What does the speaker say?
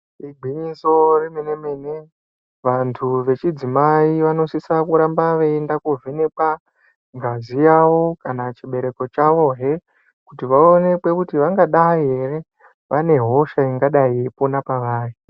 Igwinyiso remenemene vandu vechidzimai vanosisa kuramba veiyenda kovhenekwa ngazi yavo kana chibereko chavohe kuti vaoonekwe kuti vangadayi ere vane hosha ingadayi yeipona pavari.